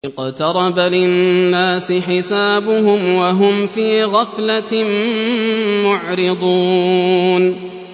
اقْتَرَبَ لِلنَّاسِ حِسَابُهُمْ وَهُمْ فِي غَفْلَةٍ مُّعْرِضُونَ